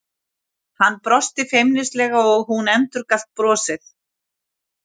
Hann brosti feimnislega og hún endurgalt brosið.